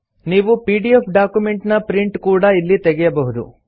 ನೀವು PDF document ನ print ಕೂಡಾ ಇಲ್ಲಿ ತೆಗೆಯಬಹುದು